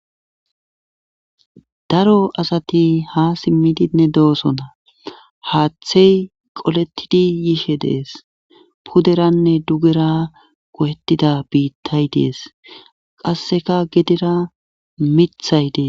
daro asati ha simmidinne de7osona haaththey qolettidi yishe de7es puderanne dugera go7ettida biittay de7es qasseka gedera mithay dees